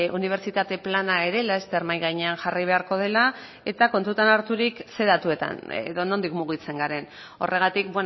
unibertsitate plana ere laster mahai gainean jarri beharko dela eta kontutan harturik ze datuetan edo nondik mugitzen garen horregatik